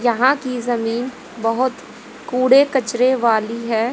यहां की जमीन बहोत कूड़े कचरे वाली है।